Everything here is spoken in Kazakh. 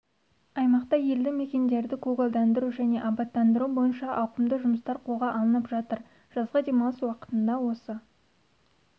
аймақта елді мекендерді көгалдандыру және абаттандыру бойынша ауқымды жұмыстар қолға алынып жатыр жазғы демалыс уақытында осы